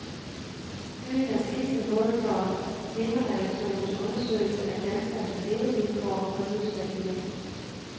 Byen er sidste mål for temaredaktionens undersøgelse af danskernes levevilkår og livsværdier.